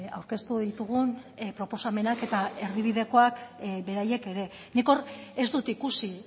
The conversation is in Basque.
aurkeztu ditugun proposamenak eta erdibidekoak beraiek ere nik hor ez dut ikusi